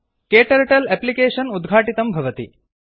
क्टर्टल अप्लिकेषन् उद्घाटितं भवति